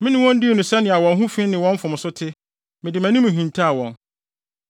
Mene wɔn dii no sɛnea wɔn ho fi ne wɔn mfomso te, mede mʼanim hintaw wɔn.